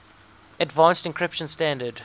advanced encryption standard